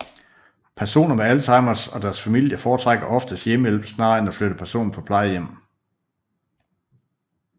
Personer med Alzheimers og deres familie foretrækker oftest hjemmehjælp snarere end at flytte personen på plejehjem